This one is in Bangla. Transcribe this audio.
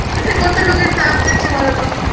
এতে কত লোকের প্রাণ যাচ্ছে বলো তো